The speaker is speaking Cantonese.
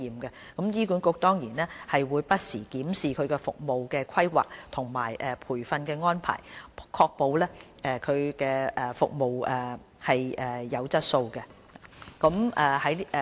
醫管局會不時檢視服務的規劃和培訓安排，確保服務質素。